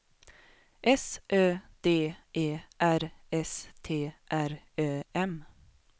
S Ö D E R S T R Ö M